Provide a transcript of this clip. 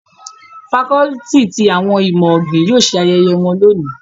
Facọluti ti awọn imọ-ogbin yóò ṣe ayẹyẹ wọn loni